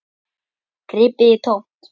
Gripið í tómt.